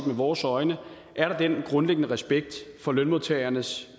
med vores øjne er der den grundlæggende respekt for lønmodtagernes